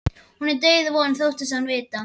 Hún er dauðvona þóttist hann vita.